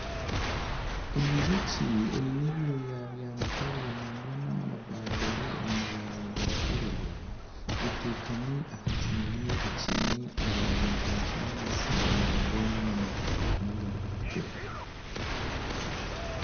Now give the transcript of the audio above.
Enjoki eine ebyoya bya mutare nangwa n'amapapa gari omu mabara garikwiragura etekami aha kimuri ekiine amabara ga kinyaatsi nangwa n'agarikutukura